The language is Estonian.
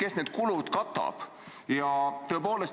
Kes need kulud katab?